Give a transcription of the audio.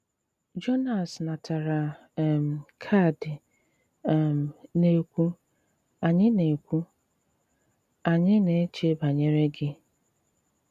Jònàs natàrà um kààdì um na-ekwu, “Ànyị̀ na-ekwu, “Ànyị̀ na-èchè bànyere gị.